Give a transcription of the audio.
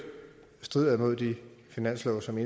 strider imod de finanslove som